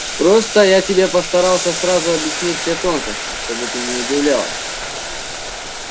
просто я тебе постарался сразу объяснить все тонкости чтобы ты не удивлялась